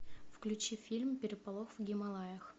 включи фильм переполох в гималаях